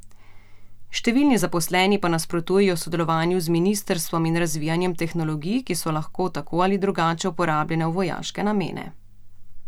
Številni zaposleni pa nasprotujejo sodelovanju z ministrstvom in razvijanjem tehnologij, ki so lahko tako ali drugače uporabljene v vojaške namene.